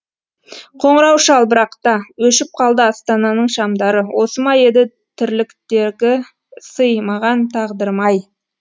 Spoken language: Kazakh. қоңырау шал бірақ та өшіп қалды астананың шамдары осы ма еді тірліктегі сый маған тағдырым ай